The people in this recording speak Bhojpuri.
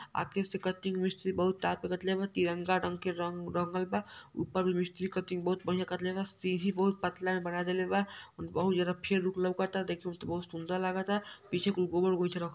आगे से कटिंग मिस्त्री बहुत तिरंगा रंग के रंग रंगल बा। ऊपर मिस्त्री कटिंग बहुत बढ़िया कटले बा। सीढ़ी बहुत पतला में बना देले बा और बहुत ज्यादा फेयर लुक लौकता। देखे में त बहुत सुन्दर लागता। पीछे कुल गोबर गोईठा रखल --